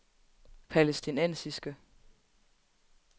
palæstinensiske